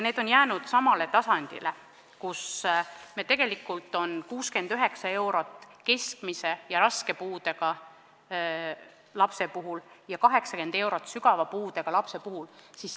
Need on jäänud samale tasemele: 69 eurot keskmise ja raske puudega lapse puhul ja 80 eurot sügava puudega lapse puhul.